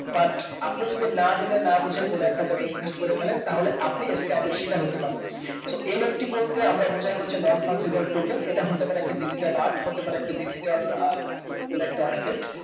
but আপনি যদি না জেনে না বুঝে কোনো একটা জায়গাই invest করেফেলেন তাহলে আপনি scam এর শিকার হতে পারেন soNFT বলতে আমরা বুজাই হচ্ছে non fungibal token এটা হতেপারে একটা digital art হতেপারে একটা digital আহ কোনো একটা asset